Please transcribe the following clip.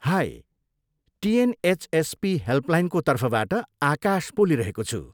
High! TNHSP हेल्पलाइनको तर्फबाट आकाश बोलिरहेको छु।